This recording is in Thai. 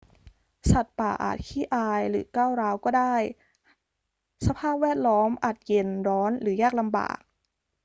สัตว์ป่าอาจขี้อายหรือก้าวร้าวก็ได้ สภาพแวดล้อมอาจเย็น ร้อน หรือยากลำบาก